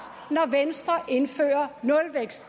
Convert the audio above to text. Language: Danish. når venstre indfører nulvækst